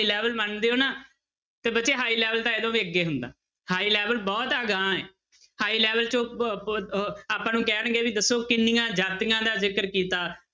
Level one ਦੇ ਹੋ ਨਾ ਤੇ ਬੱਚੇ high level ਤਾਂ ਇਹ ਤੋਂ ਵੀ ਅੱਗੇ ਹੁੰਦਾ high level ਬਹੁਤ ਅਗਾਂਹ ਹੈ high level 'ਚ ਆਪਾਂ ਨੂੰ ਕਹਿਣਗੇੇ ਵੀ ਦੱਸੋ ਕਿੰਨੀਆਂ ਜਾਤੀਆਂ ਦਾ ਜ਼ਿਕਰ ਕੀਤਾ